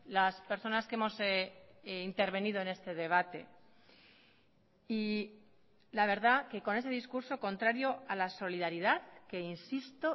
las personas que hemos intervenido en este debate y la verdad que con ese discurso contrario a la solidaridad que insisto